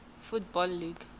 football league